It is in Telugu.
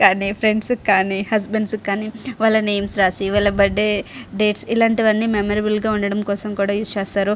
ఫ్రెండ్ కి కానీ వాళ్ళ హస్బెండ్ కానీ వాళ్ళ నేమ్స్ రాసి వాళ్ళ బర్త్డే డేట్స్ ఇలాంటివన్నీ మెమొరబుల్ గా ఉండడం కోసం కూడా యూజ్ చేస్తారు.